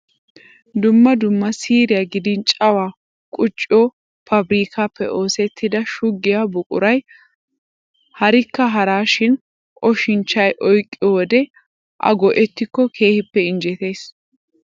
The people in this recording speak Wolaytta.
Dumma dumma siiriya gidin cawaa qucciyo paabirkkaappe oosettida shuggiya buquray harikka haraa shin oshincjchay oyqqiyo wode A go"ettikko keehippe injjetees.